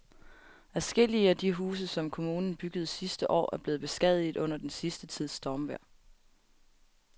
Adskillige af de huse, som kommunen byggede sidste år, er blevet beskadiget under den sidste tids stormvejr.